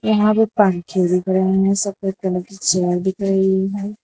यहां पे पंखे दिख रहे हैं सफेद कलर की चेयर दिख रही है।